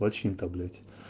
очень таблица